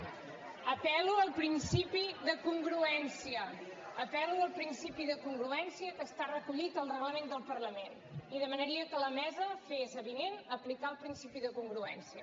apel·lo al principi de congruència apel·lo al principi de congruència que està recollit al reglament del parlament i demanaria que la mesa fes avinent aplicar el principi de congruència